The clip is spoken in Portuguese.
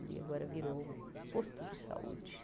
E agora virou um posto de saúde.